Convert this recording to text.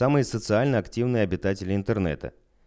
самые социально активные обитатели интернета